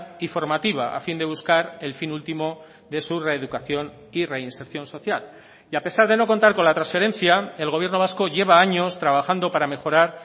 y formativa a fin de buscar el fin último de su reeducación y reinserción social y a pesar de no contar con la transferencia el gobierno vasco lleva años trabajando para mejorar